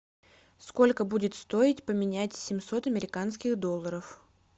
сколько будет стоить поменять семьсот американских долларов